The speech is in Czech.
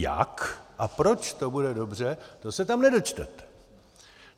Jak a proč to bude dobře, to se tam nedočtete.